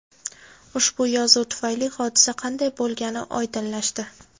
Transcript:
Ushbu yozuv tufayli hodisa qanday bo‘lgani oydinlashdi.